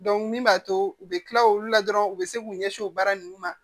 min b'a to u bɛ kila olu la dɔrɔn u bɛ se k'u ɲɛsin o baara nunnu ma